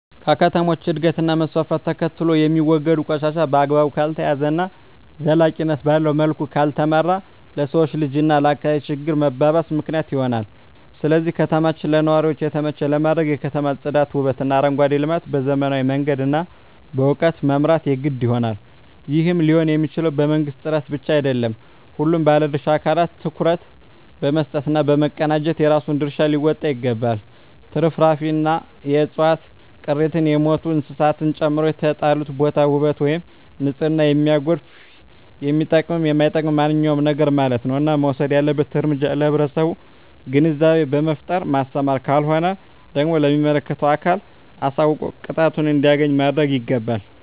ከከተሞች እድገት እና መስፍፍት ተከትሎየሚወገዱ ቆሻሻ በአግባቡ ካልተያዘ እና ዘላቂነት ባለዉ መልኩ ካልተመራ ለሰዉ ልጅ እና ለአካባቢ ችግር መባባስ ምክንያት ይሆናል ስለዚህ ከተማችን ለነዋሪዎች የተመቸ ለማድረግ የከተማ ፅዳት ዉበትእና አረንጓዴ ልማት በዘመናዊ መንገድ እና በእዉቀት መምራት የግድ ይሆናል ይህም ሊሆንየሚችለዉ በመንግስት ጥረት ብቻ አይደለም ሁሉም ባለድርሻ አካላት ትኩረት በመስጠት እና በመቀናጀት የራሱን ድርሻ ሊወጣ ይገባል ትርፍራፊንእና የዕፅዋት ቅሪትን የሞቱ እንስሳትን ጨምሮ የተጣለበትን ቦታ ዉበት ወይም ንፅህናን የሚያጎድፍ የሚጠቅምም የማይጠቅምም ማንኛዉም ነገርማለት ነዉ እና መወሰድ ያለበት እርምጃ ለህብረተሰቡ ግንዛቤ በመፍጠር ማስተማር ካልሆነ ደግሞ ለሚመለከተዉ አካል አሳዉቆ ቅጣቱን እንዲያገኝ ማድረግይገባል